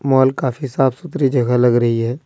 Mall काफी साफ सुथरी जगह लग रही है।